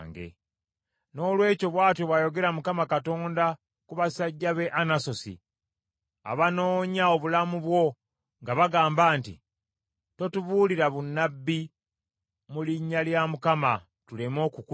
Noolwekyo bw’atyo bw’ayogera Mukama Katonda ku basajja b’e Anasosi abanoonya obulamu bwo nga bagamba nti, “Totubuulira bunnabbi mu linnya lya Mukama , tuleme okukutta.”